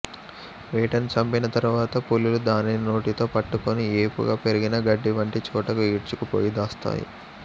వేటను చంపిన తరువాత పులులు దానిని నోటితో పట్టుకుని ఏపుగా పెరిగిన గడ్డి వంటి చోటకు ఈడ్చుకు పోయి దాస్తాయి